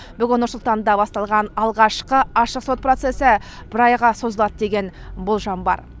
бүгін нұрсұлтанда басталған алғашқы ашық сот процесі бір айға созылады деген болжам бар